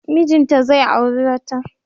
Mijinta zai auri wata.